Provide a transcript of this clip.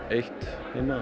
eitt heima